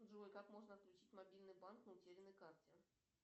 джой как можно отключить мобильный банк на утерянной карте